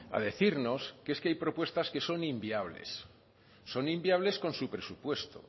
a decirnos que es que hay propuestas que son inviables son inviables con su presupuesto